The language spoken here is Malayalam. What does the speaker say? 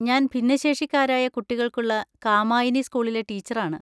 ഞാൻ ഭിന്നശേഷിക്കാരായ കുട്ടികൾക്കുള്ള കാമായിനി സ്‌കൂളിലെ ടീച്ചറാണ്.